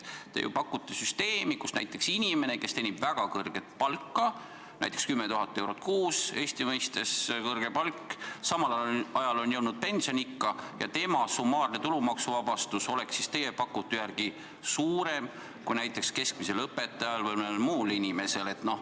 Te ju pakute süsteemi, kus näiteks inimene, kes teenib väga kõrget palka, näiteks 10 000 eurot kuus – Eesti mõistes on see kõrge palk –, on samal ajal jõudnud pensioniikka ja tema summaarne tulumaksuvabastus oleks siis teie pakutu järgi suurem kui näiteks keskmisel õpetajal või mõnel muul inimesel.